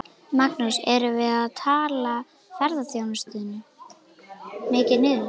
Magnús: Erum við að tala ferðaþjónustuna mikið niður?